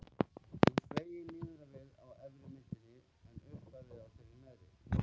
Hún sveigir niður á við á efri myndinni en upp á við á þeirri neðri.